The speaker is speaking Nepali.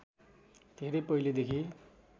धेरै पहिलेदेखि